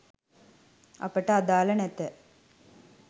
අපට අදාල නැත